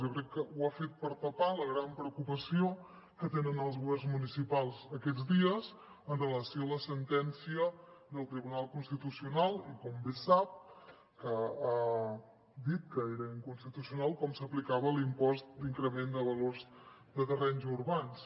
jo crec que ho ha fet per tapar la gran preocupació que tenen els governs municipals aquests dies amb relació a la sentència del tribunal constitucional i com bé sap que ha dit que era inconstitucional com s’aplicava l’impost d’increment de valors de terrenys urbans